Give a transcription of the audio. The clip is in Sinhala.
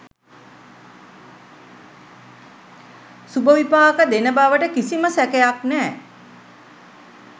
සුබ විපාක දෙන බවට කිසිම සැකයක් නෑ.